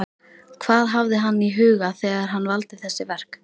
Hvað hafði hann í huga þegar hann valdi þessi verk?